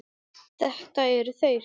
Þetta eru þeir.